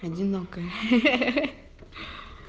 одинокая хехе